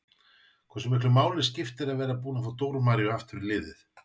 Hversu miklu máli skiptir að vera búin að fá Dóru Maríu aftur í liðið?